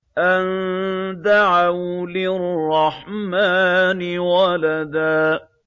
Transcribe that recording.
أَن دَعَوْا لِلرَّحْمَٰنِ وَلَدًا